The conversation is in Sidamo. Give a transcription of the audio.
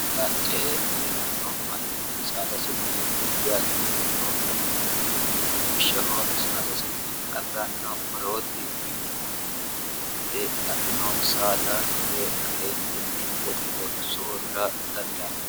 ala ce e hee'ranno manni saadasinni addi addi koro afi'ranno lawishshaho saadasinni afi'ranno korooti ineemuti mitte afi'rino saada hire kaeentinni woxeho soorira dandaanno